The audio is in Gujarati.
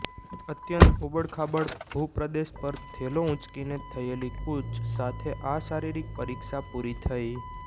અત્યંત ઉબડખાબડ ભૂપ્રદેશ પર થેલો ઊંચકીને થયેલી કૂચ સાથે આ શારીરિક પરીક્ષા પૂરી થઇ